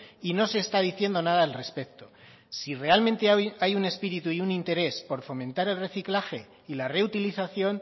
y no se está diciendo nada al respecto si realmente hay un espíritu y un interés por fomentar el reciclaje y la reutilización